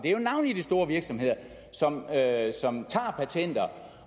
jo navnlig de store virksomheder som herre som tager patenter